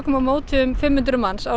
á móti um fimm hundruð manns á